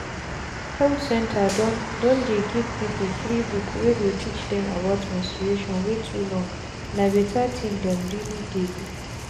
health center don don dey give people free book wey go teach dem about menstruation wey too long.na better thing dem really dey do.